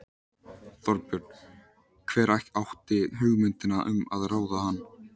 Þorbjörn: Hver átti hugmyndina um að ráða hann?